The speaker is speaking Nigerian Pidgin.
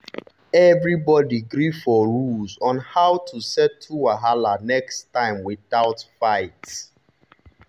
everybody gree for rules on how to settle wahala next time without fight.